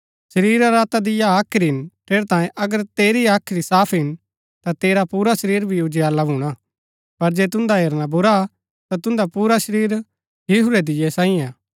शरीरा रा दीया हाख्री हिन ठेरैतांये अगर तेरी हाख्री साफ हिन ता तेरा पुरा शरीर भी उजियाला भूणा पर जे तुन्दा हेरना बुरा ता तुन्दा पुरा शरीर हिहुरै दीये सांई हा